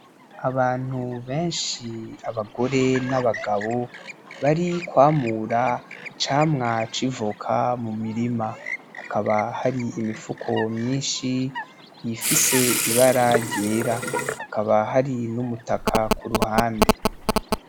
Abantu benshi abagore n'abagabo, barikwamura icamwa c'ivoka mumirima; Hakaba hari imifuko myinshi ifise ibara ryera; Hakaba hari n'umutaka kuruhande.